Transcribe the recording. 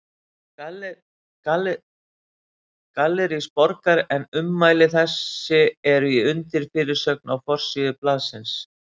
Gallerís Borgar, en ummæli þessi eru í undirfyrirsögn á forsíðu blaðsins.